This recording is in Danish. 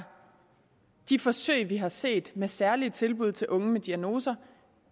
de forsøg vi har set med særlige tilbud til unge med diagnoser